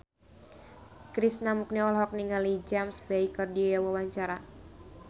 Krishna Mukti olohok ningali James Bay keur diwawancara